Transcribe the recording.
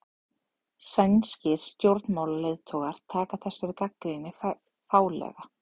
Sænskir stjórnmálaleiðtogar taka þessari gagnrýni fálega